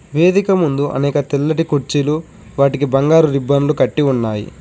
వేదిక ముందు అనేక తెల్లటి కుర్చీలు వాటికి బంగారు రిబ్బన్లు కట్టి ఉన్నాయి.